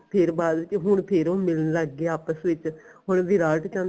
ਫੇਰ ਬਾਅਦ ਵਿੱਚ ਹੁਣ ਫੇਰ ਹੁਣ ਲੱਗ ਗਏ ਆਪਸ ਵਿੱਚ ਹੁਣ ਵਿਰਾਟ ਚਾਹੁੰਦਾ